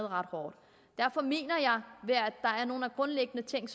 ret hårdt derfor mener jeg at nogle grundlæggende ting